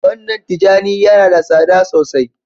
gwandan tijani Yana da tsada sosai.